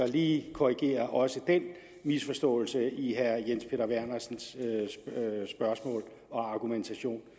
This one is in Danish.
lige korrigere også den misforståelse i herre jens peter vernersens spørgsmål og argumentation